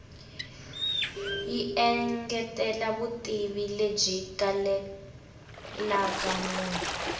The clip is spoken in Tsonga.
yi engetela vutivi lebyi kalelaka munhu